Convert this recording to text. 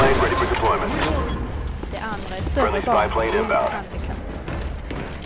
De andra är större barn med olika handikapp.